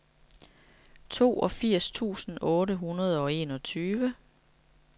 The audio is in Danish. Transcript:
toogfirs tusind otte hundrede og enogtyve